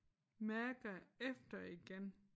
Mærker efter igen